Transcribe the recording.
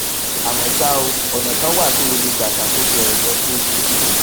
àmó ṣá o ònà kan wà tó o lè gbà ṣàkóso èrọ tó o fi ń